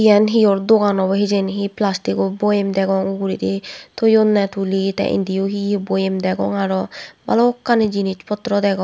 iyan hiyor dogan obo hijeni hi plastiko boyem degong uguredi thoyunney tuli tey indiyo hi hi boyem degong aro balokkani jinich potro degong.